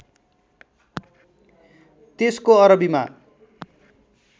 त्यसको अरबीमा